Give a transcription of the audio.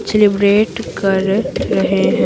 Celebrate कर रहे हैं।